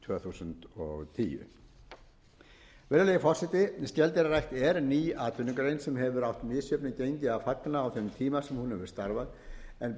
þúsund og tíu virðulegi forseti skeldýrarækt er ný atvinnugrein sem hefur átt misjöfnu gengi að fagna á þeim tíma sem hún hefur starfað en